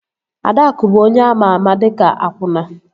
Adaakụ bụ onye ama ama dịka akwụna